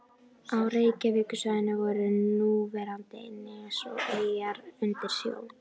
Á Reykjavíkursvæðinu voru núverandi nes og eyjar undir sjó.